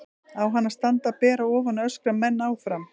Á hann að standa ber að ofan og öskra menn áfram?